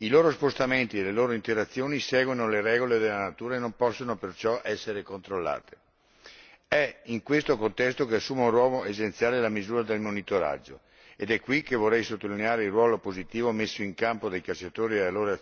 I loro spostamenti e le loro interazioni seguono le regole della natura e non possono perciò essere controllati. È in questo contesto che assumono un ruolo essenziale le misure di monitoraggio ed è qui che vorrei sottolineare il ruolo positivo messo in campo dai cacciatori e dalle loro